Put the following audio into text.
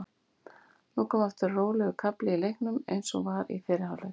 Nú kom aftur rólegur kafli í leiknum eins og var í fyrri hálfleik.